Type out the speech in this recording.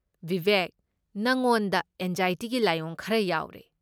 ꯕꯤꯕꯦꯛ, ꯅꯉꯣꯟꯗ ꯑꯦꯟꯖꯥꯏꯇꯤꯒꯤ ꯂꯥꯏꯑꯣꯡ ꯈꯔ ꯌꯥꯎꯔꯦ꯫